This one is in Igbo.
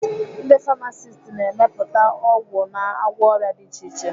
Ndi famasist na-emepụta ọgwụ na-agwọ ọrịa dị iche iche.